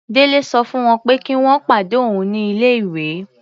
Délé sọ fún wọ́n pé kí wọ́n pàdé òun ní ilé-ìwé.